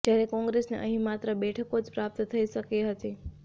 જ્યારે કોંગ્રેસને અહીં માત્ર ત્રણ બેઠકો જ પ્રાપ્ત થઈ શકી હતી